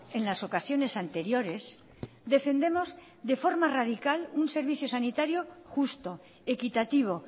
en las ocasiones anteriores defendemos de forma radical un servicio sanitario justo equitativo